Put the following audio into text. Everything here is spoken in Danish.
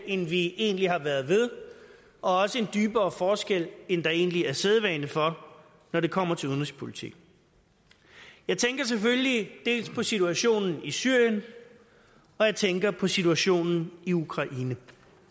end vi egentlig har været ved og også en dybere forskel end der egentlig er sædvane for når det kommer til udenrigspolitik jeg tænker selvfølgelig dels på situationen i syrien og jeg tænker på situationen i ukraine